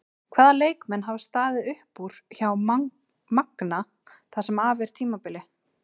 Hvaða leikmenn hafa staðið upp úr hjá Magna það sem af er tímabili?